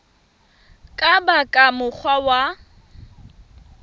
ka ba ka mokgwa wa